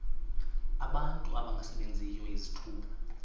abantu abangasebenziyo izithuba